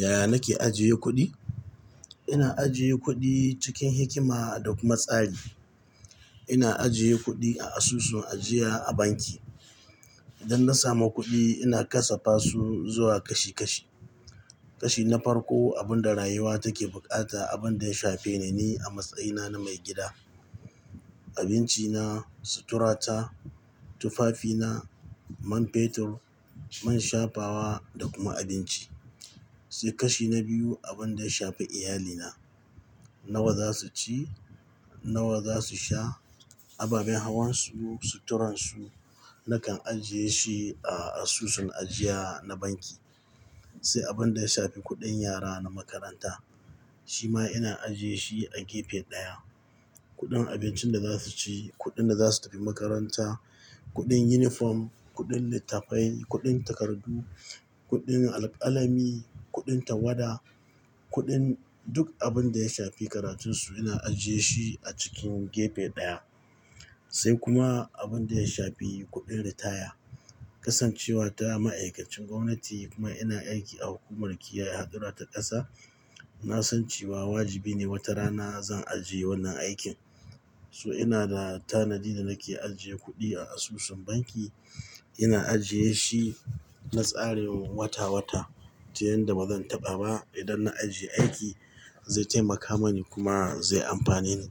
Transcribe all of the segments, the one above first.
Yaya nake ajiye kuɗi? Ina ajiye kuɗi cikin hikima da kuma tsari. Ina ajiye kuɗi a asusun ajiya a banki. Idan na samu kuɗi, ina kasafa su zuwa kashi kashi. Kashi na farko, abin da rayuwa take bukata, abin da ya shafe ne ni a matsayina na maigida. Abinci na, sutura ta, tufafi na, man fetur, man shafawa da kuma abinci. Sai kashi na biyu, abin da ya shafi iyalina. Nawa za su ci, nawa za su sha, ababen hawan su, suturan su. Nakan ajiye shi a asusun ajiya na banki. Sai abin da ya shafi kuɗin yara na makaranta. Shi ma ina ajiye shi a gefe ɗaya. Kuɗin abincin da za su ci, kuɗin da za su tafi makaranta, kuɗin yunifom, kuɗin littafai, kuɗin takardu, kuɗin al-alami, kuɗin tawada, kuɗin duk abin da ya shafi karatun su ina ajiye shi a cikin gefe ɗaya. Sai kuma abin da ya shafi kuɗin ritaya. Kasancewa ta ma'aikacin gwamnati kuma ina aiki a hukumar kiyaye hadurra ta ƙasa, na san cewa wajibi ne wata rana zan aje wannan aikin. So ina da tanadi da nake ajiye kuɗi a asusun banki. Ina ajiye shi na tsarin wata wata, ta yan da ba zan taɓa ba idan na aje aiki, zai taimaka mani kuma zai amfane ni.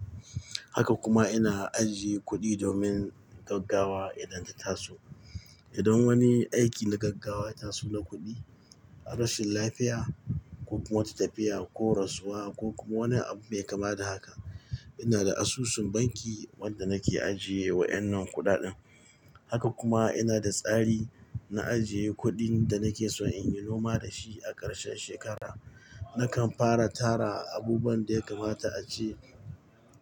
Haka kuma ina ajiye kuɗi domin gaggawa idan ta taso. Idan wani aiki na gaggawa ya taso na kuɗi, rashin lafiya ko kuma wata tafiya ko rasuwa ko kuma wani abu mai kama da haka, ina da asusun banki wanda nake ajiye wa wannan kuɗaɗen. Haka kuma ina da tsari na ajiye kuɗin da nake son in yi noma da shi a karshen shekara. Nakan fara tara abubuwan da ya kamata a ce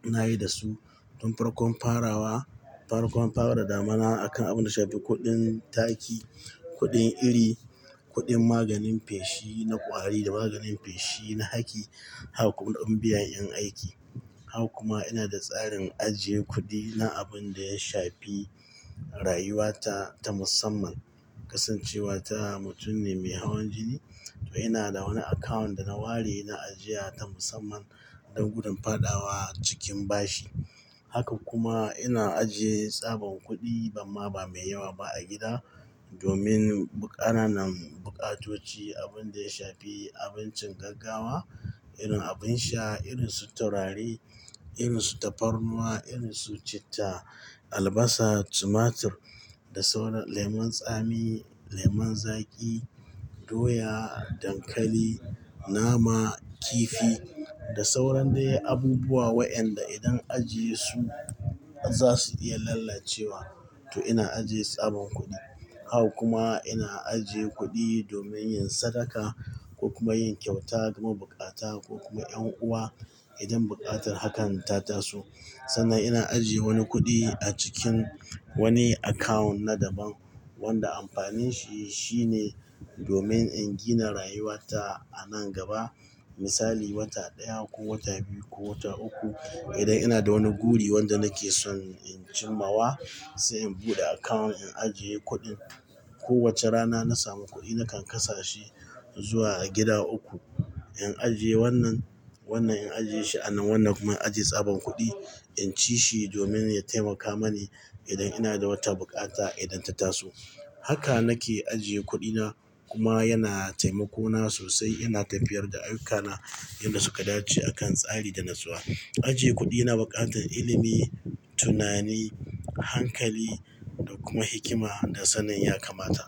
nayi da su. Tun farko an farawa, farkon fara damina akan abin da shafi kuɗin taki, kuɗin iri, kuɗin maganin fashi na ƙwari da maganin fashi na haki, hak kuma kuɗin biyan 'yan aiki. Hak kuma ina da tsarin ajiye kuɗi na abin da ya shafi rayuwa ta ta musamman. Kasancewa ta mutum ne mai hawan jini, to ina da wani akawun da na ware na ajiya ta musamman don gudumfaɗawa cikin bashi. Haka kuma ina ajiye tsaban kuɗi, amma ba mai yawa ba a gida domin bu-- ƙananan bukatoci. Abin da ya shafi abincin gaggawa, irin abin sha, irin suturari, irin safarnuwa, irin su citta, albasa, tumatur da sauran lemun tsami, lemon zaƙi, doya, dankali, nama, kifi da sauran dai abubuwa wayennanda idan ajiye su za su iya lalacewa. To ina ajiye tsaban kuɗi. Hak kuma ina ajiye kuɗi domin yin sadaka ko kuma yin kyauta ga mabukata ko kuma yan uwa idan buƙatar hakan ta taso. Sannan ina ajiye wani kuɗi a cikin wani akawun na daban wanda amfanin shi shine domin in gina rayuwa ta a nan gaba. Misali, wata ɗaya ko wata biyu ko wata uku. Idan ina da wani guri wanda nake son in cimawa, sai in buɗe akawun, in ajiye kuɗin. Kowace rana na samu kuɗi nakan kasashi zuwa a gida uku. In ajiye wannan, wannan in ajiye shi a nan, wannan kuma in ajiye tsaban kuɗi. In ci shi domin ya taimaka mani idan ina da wata bukata idan ta taso. Haka nake ajiye kuɗina kuma yana taimako na sosai. Ina tafiyar da ayukana yadda suka dace akan tsari da natsuwa. Ajiye kuɗi na buƙatar ilimi, tunani, hankali da kuma hikima da sannan ya kamata.